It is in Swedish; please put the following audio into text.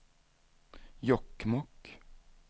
Jokkmokk